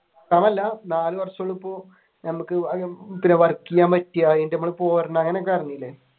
നാല് വര്ഷം ഇപ്പോൾ